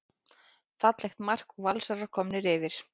Fallegt mark og Valsarar komnir yfir.